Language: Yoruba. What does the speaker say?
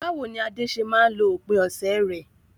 Báwo ni Ade ṣe máa ń lo òpin ọ̀sẹ̀ rẹ̀?